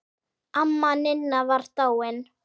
Amma Ninna var dáin.